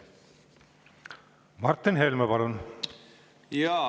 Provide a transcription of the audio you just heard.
Martin Helme, palun!